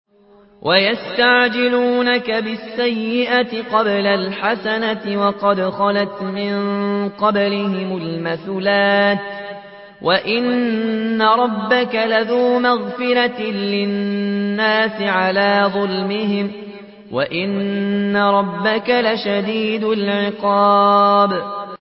وَيَسْتَعْجِلُونَكَ بِالسَّيِّئَةِ قَبْلَ الْحَسَنَةِ وَقَدْ خَلَتْ مِن قَبْلِهِمُ الْمَثُلَاتُ ۗ وَإِنَّ رَبَّكَ لَذُو مَغْفِرَةٍ لِّلنَّاسِ عَلَىٰ ظُلْمِهِمْ ۖ وَإِنَّ رَبَّكَ لَشَدِيدُ الْعِقَابِ